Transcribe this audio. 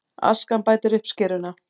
Askan bætir uppskeruna